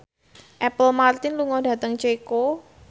Apple Martin lunga dhateng Ceko